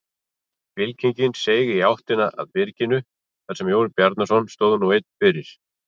Fylkingin seig í áttina að byrginu þar sem Jón Bjarnason stóð nú einn fyrir.